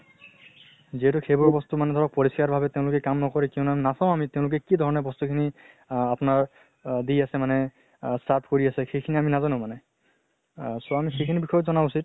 যিহেতু সেইবৰ মানে ধৰক পৰিস্কাৰ ভাবে তেওঁলোকে কাম নকৰে নাচাও আমি তেওঁলোকে কি ধৰণে বস্তু খিনি আহ আপোনাৰ আ দি আছে মানে আহ serve কৰি আছে, সেইখিনি আমি নাজানো মানে। আহ so আমি সেইখিনি বিষয়ে জানাও উচিত।